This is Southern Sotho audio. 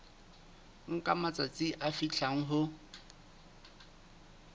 nka matsatsi a fihlang ho